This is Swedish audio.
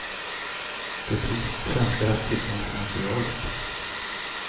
Det är troligt att svenskar haft tillgång till materialet.